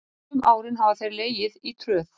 Sum árin hafa þeir legið í tröð.